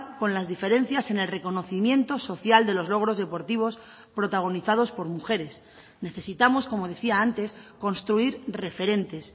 con las diferencias en el reconocimiento social de los logros deportivos protagonizados por mujeres necesitamos como decía antes construir referentes